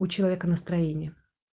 у человека настроение